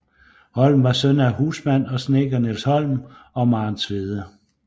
Holm var søn af husmand og snedker Niels Holm og Maren Tvede